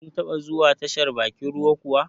Kin taba zuwa tashar bakin ruwa kuwa?